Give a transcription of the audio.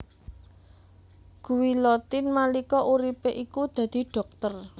Guillotin nalika uripé iku dadi dhokter